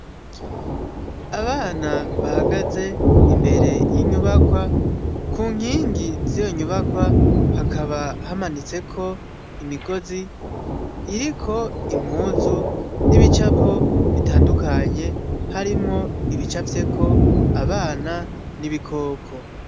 Abana bahagaze imbere y'inyubakwa, ku nkingi z'iyo nyubakwa hakaba hamanitseko imigozi, iriko impuzu n'ibicapo bitangukanye, harimwo ibicafyeko abana n'ibikoko.